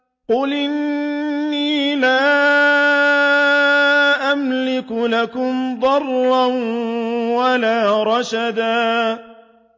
قُلْ إِنِّي لَا أَمْلِكُ لَكُمْ ضَرًّا وَلَا رَشَدًا